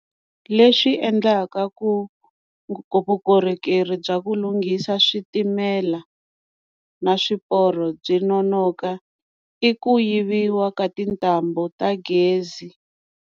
Leswi endlaka ku vukorhokeri bya ku lunghisa switimela na swiporo byi nonoka i ku yiviwa ka tintambu ta gezi.